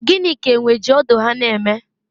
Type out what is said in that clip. gịnị ka enwe ji ọdụ ha na-eme?